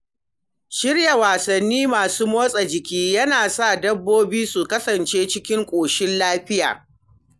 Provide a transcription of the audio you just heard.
Shirya wasanni masu motsa jiki yana sa dabbobi su kasance cikin koshin lafiya.